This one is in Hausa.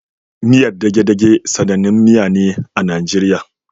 Miyar degedege sanannin miya ne a Nigeria